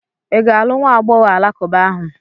Ị ga-alụ nwa agbọghọ alakụba ahụ?